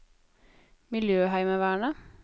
miljøheimevernet